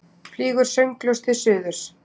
Flýgur sönglaus til suðurs.